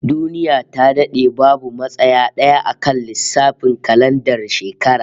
Duniya ta dade babu matsaya d'aya akan lissafin kalandar shekara